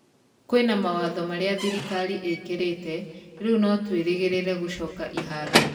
Kwĩna mawatho marĩa thirikari ĩkĩrĩte, riu no tũĩrĩgĩrĩre gũcoka iharo.